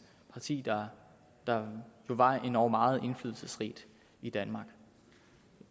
parti der var endog meget indflydelsesrigt i danmark